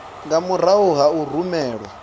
nga murahu ha u rumelwa